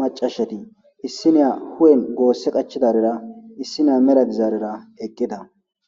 macashati issiniya gose qachidaysara issiniya mela dizarira eqida.